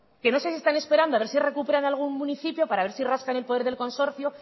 que no sé si están esperando a ver si recuperan algún municipio para ver si rascan el poder del consorcio